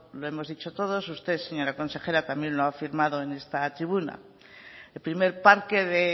lo hemos dicho todos usted señora consejera también lo ha afirmado en esta tribuna el primer parque de